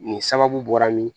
Nin sababu bɔra min